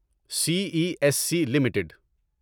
C E S C limited